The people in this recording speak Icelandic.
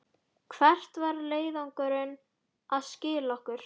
Hvert var leiðangurinn að skila okkur?